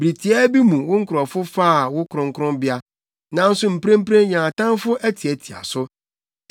Bere tiaa bi mu wo nkurɔfo faa wo kronkronbea nanso mprempren yɛn atamfo atiatia so.